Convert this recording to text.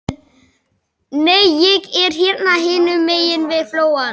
Nei, ég er hérna hinum megin við flóann.